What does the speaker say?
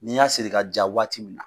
N'i y'a siri ka ja waati min na.